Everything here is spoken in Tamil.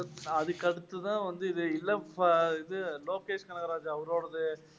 அதுக்கு அடுத்து தான் வந்து இது இது லோகேஷ் நாகராஜ் அவரோடாது